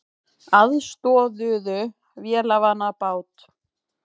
Aðstoðuðu vélarvana bát